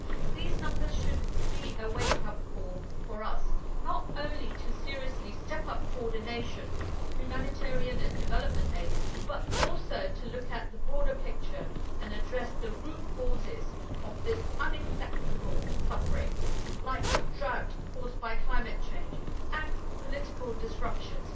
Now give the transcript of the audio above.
These numbers should be a wake up call for us, not only to seriously step up coordination of humanitarian and development aid but also to look at the broader picture and address the root causes of this unacceptable suffering, like drought caused by climate change and political disruptions.